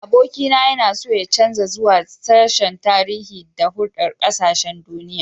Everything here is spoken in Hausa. Abokina yana so ya canza zuwa sashen Tarihi da Hulɗar Ƙasashen Duniya.